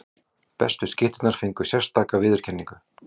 Bestu skytturnar fengu sérstaka viðurkenningu.